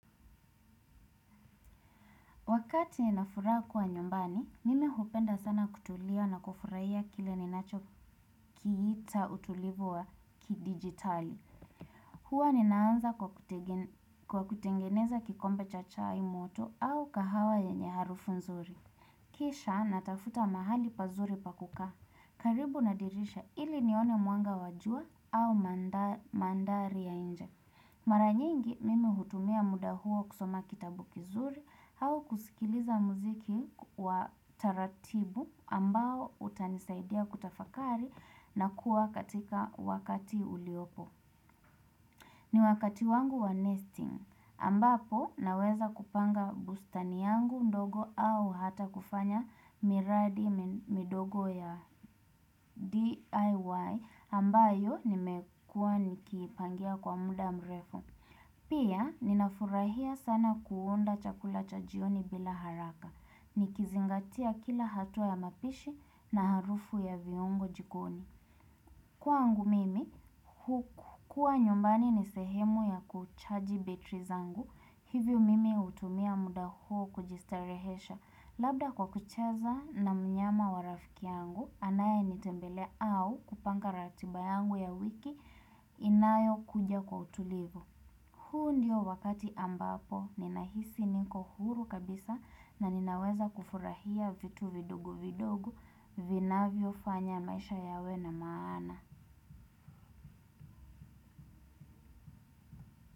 Wakati nafuraha kuwa nyumbani, mimi hupenda sana kutulia na kufurahia kile ninachokiita utulivu wa kidijitali. Huwa ninaanza kwa kutengeneza kikombe cha chai moto au kahawa yenye harufu nzuri. Kisha natafuta mahali pazuri pa kukaa. Karibuna dirisha ili nione mwanga wa jua au mandhari ya nje. Mara nyingi, mimi hutumia muda huo kusoma kitabu kizuri, au kusikiliza muziki wa taratibu ambao utanisaidia kutafakari na kuwa katika wakati uliopo. Ni wakati wangu wa nesting ambapo naweza kupanga bustani yangu ndogo au hata kufanya miradi midogo ya DIY ambayo nimekua nikipangia kwa muda mrefu. Pia, ninafurahia sana kuunda chakula cha jioni bila haraka. Nikizingatia kila hatua ya mapishi na harufu ya viungo jikoni. Kwangu mimi, kua nyumbani ni sehemu ya kuchaji betri zangu. Hivyo mimi hutumia muda huo kujistarehesha. Labda kwa kucheza na mnyama wa rafiki yangu, anaye nitembele au kupanga ratiba yangu ya wiki inayo kuja kwa utulivu. Huu ndio wakati ambapo ninahisi niko huru kabisa na ninaweza kufurahia vitu vidogo vidogo vinavyo fanya maisha yawe na maana.